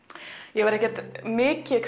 ég væri ekki mikið